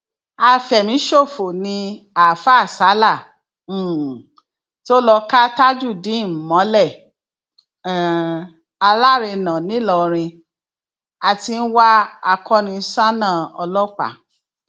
afẹmíṣòfò ni àáfáà sala um tó lọọ ka tajudeen mọlẹ um alárànán nìlọrin a ti ń wá akoniṣánná ọlọpàá